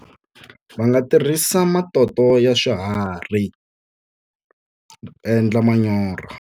Va nga tirhisa matoto ya swiharhi endla manyoro.